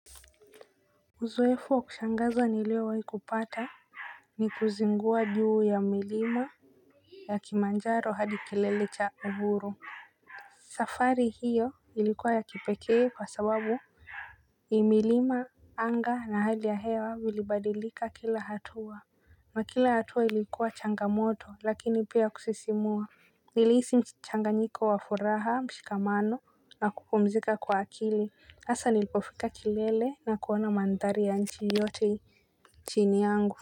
Uzoefu wa kushangaza niliowahi kupata, ni kuzingua juu ya milima ya Kilimanjaro hadi kilele cha uhuru. Safari hiyo ilikuwa ya kipekee kwa sababu, ni milima, anga na hali ya hewa vilibadilika kila hatua. Na kila hatua ilikuwa changamoto lakini pia kusisimua. Nilihisi mchanganyiko wa furaha, mshikamano na kupumzika kwa akili. Hasa nilipofika kilele na kuona mandhari ya nchi yote chini yangu.